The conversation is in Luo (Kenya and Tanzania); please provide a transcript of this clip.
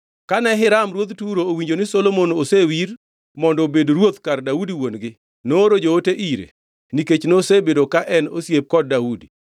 Kane Hiram ruodh Turo owinjo ni Solomon osewir mondo obed ruoth kar Daudi wuon-gi, nooro joote ire nikech nosebedo ka en osiepe kod Daudi.